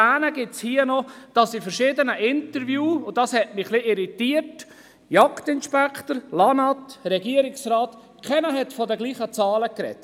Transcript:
Zu erwähnen ist hier noch, dass in verschiedenen Interviews mit dem Jagdinspektor, dem Amt für Landwirtschaft und Natur (LANAT) sowie dem Regierungsrat keiner von denselben Zahlen gesprochen hat.